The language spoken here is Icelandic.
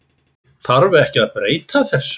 Þarf ekki að breyta þessu?